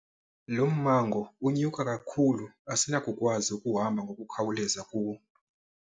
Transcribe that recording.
Lo mmango unyuka kakhulu asinakukwazi ukuhamba ngokukhawuleza kuwo.